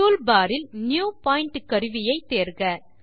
toolbar இல் புதிய புள்ளி கருவியை தேர்க